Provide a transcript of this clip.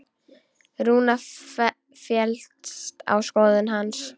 Rúna féllst á skoðun hans.